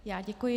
Já děkuji.